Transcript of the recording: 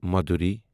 مدٗورِی